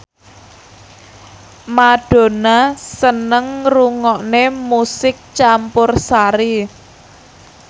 Madonna seneng ngrungokne musik campursari